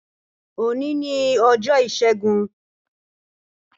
Òní ni ọjọ́ Ìṣẹ́gun.